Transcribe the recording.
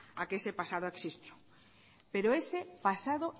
a que ese pasado exista pero ese pasado